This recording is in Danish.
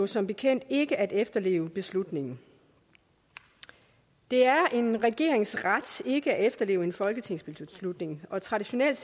som bekendt ikke at efterleve beslutningen det er en regerings ret ikke at efterleve en folketingsbeslutning og traditionelt